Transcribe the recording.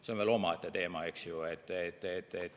See on veel omaette teema, eks ju.